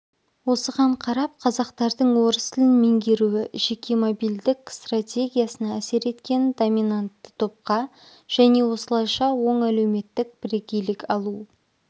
осыған қарап қазақтардың орыс тілін меңгеруі жеке мобильдік стратегиясына әсер еткенін доминантты топқа және осылайша оң әлеуметтік бірегейлік алу